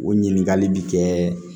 O ɲininkali bi kɛ